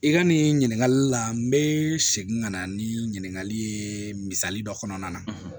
I ka nin ɲininkali la n bɛ segin ka na ni ɲininkali ye misali dɔ kɔnɔna na